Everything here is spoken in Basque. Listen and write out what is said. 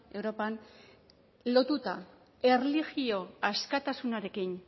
europan lotuta erlijio askatasunarekin